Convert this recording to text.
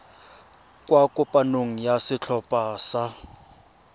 kwa kopanong ya setlhopha sa